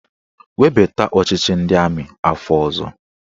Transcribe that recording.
Webata ọchịchị ndị amị afọ ọzọ!